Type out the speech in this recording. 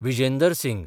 Vijender Singh